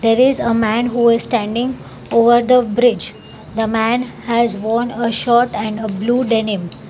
There is a man who is standing over the bridge the man has own a shirt and blue denim.